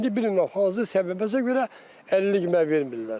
İndi bilmirəm hansı səbəbə görə əlillik mənə vermirlər.